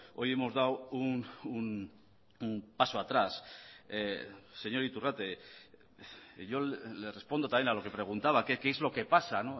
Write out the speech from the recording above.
hoy hemos dado un paso atrás señor iturrate yo le respondo también a lo que preguntaba que qué es lo que pasa